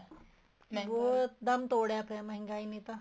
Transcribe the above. ਬਹੁਤ ਦਮ ਤੋੜਿਆ ਪਇਆ ਹੈ ਮਹਿੰਗਾਈ ਨੇ ਤਾਂ